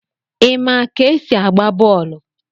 Ima ka esi agba bọọlụ?